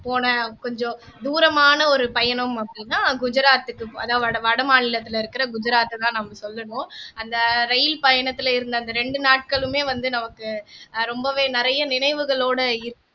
போன கொஞ்சம் தூரமான ஒரு பயணம் அப்படின்னா குஜராத்துக்கு அதாவது வட மாநிலத்தில இருக்கிற குஜராத்த தான் நம்ம சொல்லணும் அந்த ரயில் பயணத்தில இருந்த அந்த ரெண்டு நாட்களுமே வந்து நமக்கு ரொம்பவே நிறைய நினைவுகளோட இருக்கு